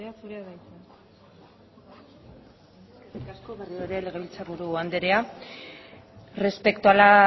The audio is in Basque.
zurea da hitza eskerrik asko berriro ere legebiltzarburu anderea respecto a la